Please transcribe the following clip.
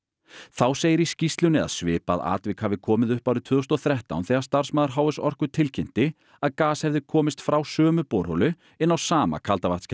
þá segir í skýrslunni að svipað atvik hafi komið upp árið tvö þúsund og þrettán þegar starfsmaður h s Orku tilkynnti að gas hefði komist frá sömu borholu inn á sama